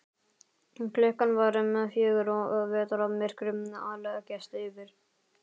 Klukkan var um fjögur og vetrarmyrkrið að leggjast yfir.